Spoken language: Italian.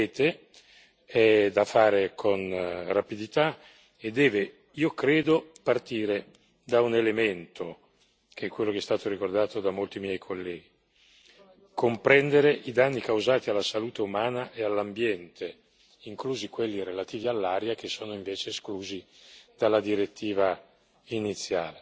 La revisione dunque ci compete, è da fare con rapidità e deve, io credo, partire da un elemento, che è quello che è stato ricordato da molti miei colleghi comprendere i danni causati alla salute umana e all'ambiente, inclusi quelli relativi all'aria, che sono invece esclusi